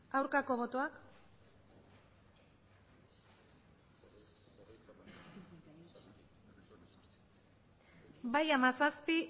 aurkako botoak bai hamazazpi